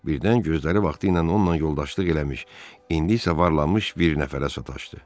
Birdən gözləri vaxtı ilə onunla yoldaşlıq eləmiş, indi isə varlanmış bir nəfərə sataşdı.